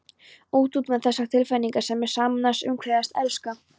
Út, út með þessa tilfinningasemi: sameinast, umvefjast, elska.